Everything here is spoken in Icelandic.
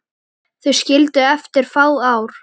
Þau skildu eftir fá ár.